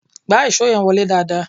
Gbá ìṣó yẹn wọlé dáadáa!